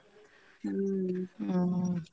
ಹ್ಮ್ .